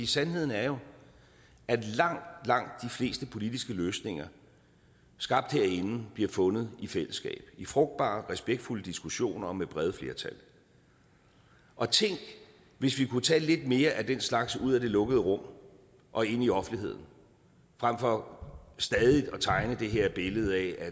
sandheden er jo at langt langt de fleste politiske løsninger skabt herinde bliver fundet i fællesskab i frugtbare respektfulde diskussioner og med brede flertal og tænk hvis vi kunne tage lidt mere af den slags ud af det lukkede rum og ind i offentligheden frem for stadig at tegne det her billede af at